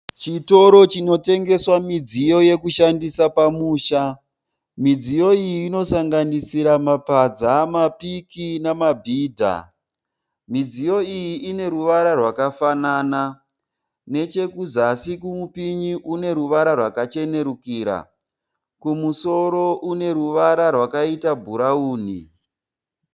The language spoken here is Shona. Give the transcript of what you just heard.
Chitoro chinotengeswa midziyo yekushandisa pamusha. Midziyo iyi inosanganisira mapadza, mapiki namabhidha. Midziyo iyi ine ruvara rwakafanana. Nechekuzasi kwemupinyi kune ruvara rwakachenerukira. Kumusoro kune ruvara rwakaita bhurawuni.